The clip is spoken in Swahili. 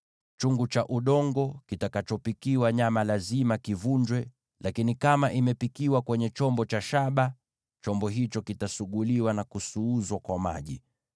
Chungu cha udongo kitakachopikiwa nyama lazima kivunjwe, lakini kama imepikiwa kwenye chombo cha shaba, chombo hicho kitasuguliwa na kusuuzwa kwa maji.